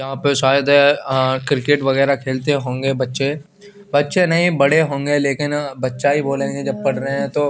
यहा पे सायद अ क्रिकेट वगेरा खेलते होंगे बच्चे बच्चे नही बड़े होंगे लेकिन बच्चा की बोलेंगे जब पड़रा हे तो--